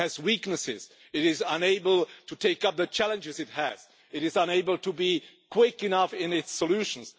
It has weaknesses, it is unable to take up the challenges it has, it is unable to be quick enough in its solutions.